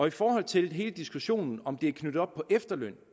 i forhold til hele diskussionen om hvorvidt det er knyttet op på efterløn